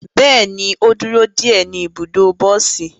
Bẹẹni, o duro de e ni ibudo bosi